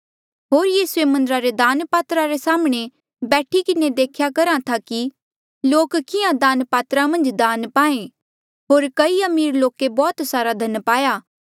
होर यीसूए मन्दरा रे दान पात्रा रे साम्हणें बैठी किन्हें देख्या करहा था कि लोक किहाँ दान पात्रा मन्झ दान पाहें होर कई अमीर लोके बौह्त सारा धन पाया